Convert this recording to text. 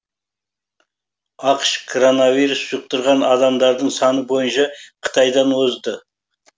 ақш коронавирус жұқтырған адамдардың саны бойынша қытайдан озды